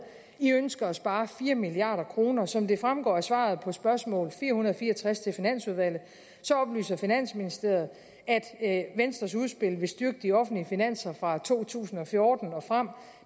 i ønsker at spare fire milliard kroner som det fremgår af svaret på spørgsmål fire hundrede og fire og tres til finansudvalget oplyser finansministeriet at venstres udspil vil styrke de offentlige finanser fra to tusind og fjorten og frem